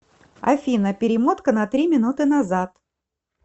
афина перемотка на три минуты назад